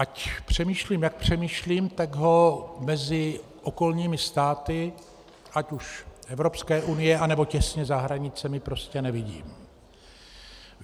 Ať přemýšlím jak přemýšlím, tak ho mezi okolními státy ať už Evropské unie, nebo těsně za hranicemi prostě nevidím.